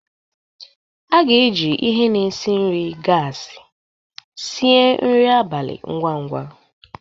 A ga-eji ihe na-esi nri gasi sie nri abalị ngwa ngwa.